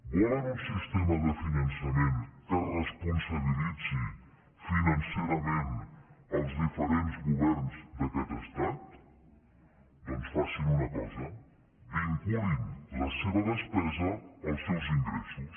volen un sistema de finançament que responsabilitzi financerament els diferents governs d’aquest estat doncs facin una cosa vinculin la seva despesa als seus ingressos